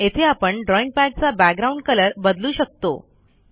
येथे आपण ड्रॉईंग पॅडचा बॅकग्राऊंड कलर बदलू शकतो